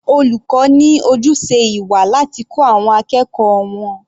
Olùkọ́ ní ojúṣe ìwà láti kọ́ àwọn akẹ́kọ̀ọ́ wọn.